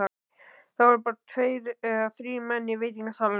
Það voru tveir eða þrír menn í veitingasalnum.